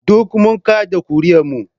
Duk mun kada ƙuri'ar mu